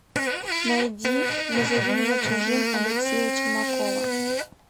найди назови меня чужим алексея чумакова